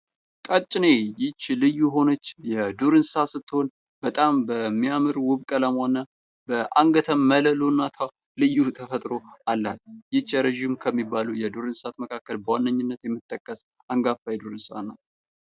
ቀጭኔ ይህች ልዩ የሆነች የዱር እንስሳት ስትሆን በጣም በሚያምር ውብ ቀለሟ እና በአንገተ መለሎነቷ ልዩ ተፈጥሮ አላት። ረጅም ከሚባሉ የዱር እንሰሳት አይነቶች ዋነኝነት የምትጠቀስ አንጋፋ የዱር እንስሳት ናት።